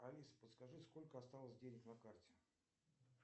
алиса подскажи сколько осталось денег на карте